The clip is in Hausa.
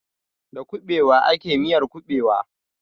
Da kuɓewa ake miyar kuɓewa.